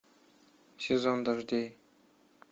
сезон дождей